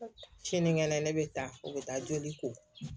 Sinikɛnɛ ne bɛ taa o bɛ taa joli ko